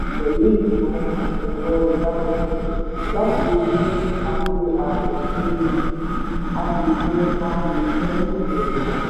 pẹ̀lú ìgbìmò ẹ̀rọ ìbáraenisòrò láti ríi a fi àbò síí a sì pín a sì pín ìròyìn náà